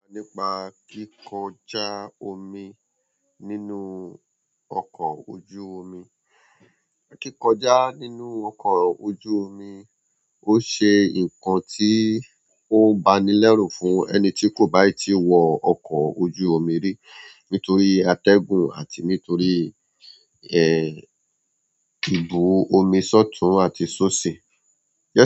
Nípa kíkọjá omi nínú ọkọ̀ ojú omi. Kíkọjá nínú ọkọ̀ ojú omi ó ṣe nǹkan tí ó banilẹ́rù fún ẹni tí kò bá ì tí wọ ọkọ̀ ojú omi rí nítorí atẹ́gùn àti nítorí, ẹ, ìbú omi sótun àti sóṣì.